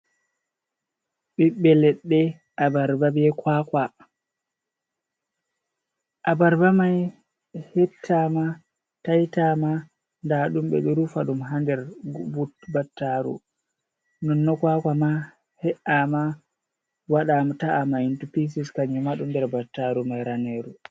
Ɓiɓɓe leɗɗe abarba, be kwakwa, abarba mai hettama, taitama, nda ɗum ɓeɗo rufa ɗum ha nder battaru, non no kwakwa ma he’ama, wadam ta amaint pises kannyuma ɗun nder battaru mai raneru.